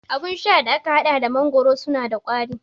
Abun sha da aka haɗa da mangoro suna da kauri